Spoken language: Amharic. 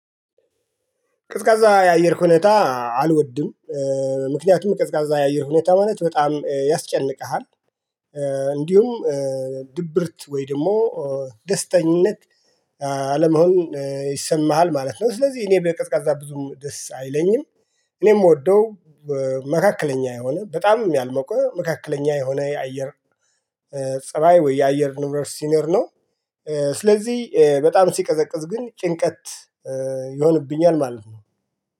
ቀዝቃዛ የአየር ሁኔታ አልወድም። ምክንያቱም ቀዝቃዛ የአየር ሁኔታ ማለት በጣም ያስጨንቅሃል። እንዲሁም ድብርት ወይ ደግሞ ደስተኝነት አለመሆን ይሰማሃል ማለት ነው። ስለዚህ እኔ ብዬ ቅዝቃዛ ብዙም ደስ አይለኝም። እኔ የምወደው መካከለኛ የሆነ በጣም ያልሞቀ መካከለኛ የሆነ የአየር ፀባይ ወይ የአየር ንብረት ሲኖር ነው። ስለዚህ በጣም ሲቀዘቅዝ ግን ጭንቀት ይሆንብኛል ማለት ነው